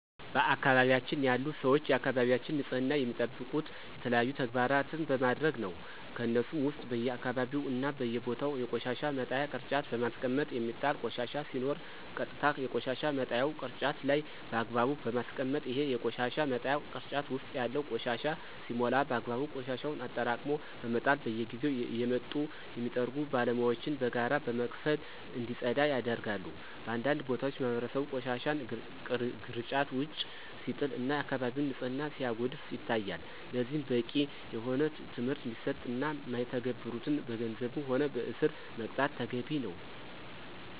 በአካባቢያችን ያሉ ሰወች የአካባቢያቸውን ንፅህና የሚጠብቁት የተለያዩ ተግባራን በማድረግ ነው። ከነሱሞ ውስጥ በየአካባቢው እና በየቦታው የቆሻሻ መጣያ ቅርጫት በማስቀመጥ የሚጣል ቆሻሻ ሲኖር ቀጥታ የቆሻሻ መጣያው ቅርጫት ላይ በአግባቡ በማስቀመጥ፣ ይሄ የቆሻሻ መጣያ ቅርጫት ውስጥ ያለው ቆሻሻ ሲሞላ በአግባቡ ቆሻሻውን አጠራቅሞ በመጣል፣ በየጊዜው እየመጡ የሚጠርጉ ባለሙያወችን በጋራ በመክፈል እንዲፀዳ ያደርጋሉ። በአንዳንድ ቦታዎች ማህበረሰቡ ቆሻሻን ግርጫት ውጭ ሲጥል እና የአከባቢውን ንፅህና ሲያጎድፍ ይታያል። ለዚህም በቂ የሆነ ትምህርት እንዲሰጥ እና ማይተገብሩትን በገንዘብም ሆነ በእስር መቅጣት ተገቢ ነው።